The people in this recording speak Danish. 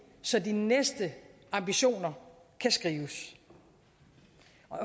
så de næste ambitioner kan skrives